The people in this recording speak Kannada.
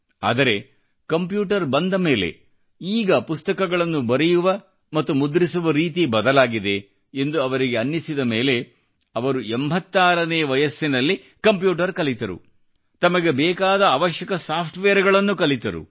ಆದರೆ ಕಂಪ್ಯೂಟರ್ ಬಂದ ಮೇಲೆ ಈಗ ಪುಸ್ತಕಳನ್ನು ಬರೆಯುವ ಮತ್ತು ಮುದ್ರಿಸುವ ರೀತಿ ಬದಲಾಗಿದೆ ಎಂದು ಅವರಿಗೆ ಅನ್ನಿಸಿದ ಮೇಲೆ ಅವರು 86 ನೇ ವಯಸ್ಸಿನಲ್ಲಿ ಕಂಪ್ಯೂಟರ್ ಕಲಿತರು ತಮಗೆ ಬೇಕಾದ ಅವಶ್ಯಕ ಸಾಫ್ಟ ವೇರ್ ಗಳನ್ನು ಕಲಿತರು